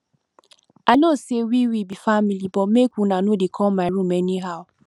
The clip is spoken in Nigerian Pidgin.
i know sey we we be family but make una no dey come my room anyhow